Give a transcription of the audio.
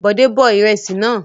Bòdé bọ ìrẹsì náà.